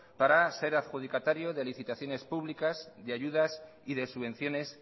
para ser adjudicatario de licitaciones públicas de ayudas y de subvenciones